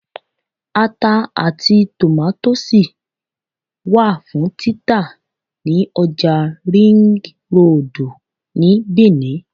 Ata àti tòmátósì wà fún títà ní ọjà Ringroòdù ní Bìní